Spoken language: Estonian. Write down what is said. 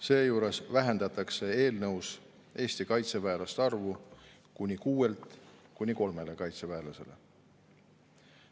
Seejuures vähendatakse eelnõus Eesti kaitseväelaste arvu kuni kuuelt kuni kolme kaitseväelaseni.